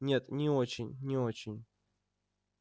нет не очень не очень